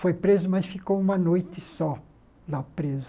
Foi preso, mas ficou uma noite só lá preso.